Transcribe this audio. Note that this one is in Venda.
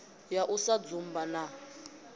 ya u sa dzumba na